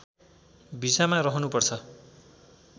भिसामा रहनुपर्छ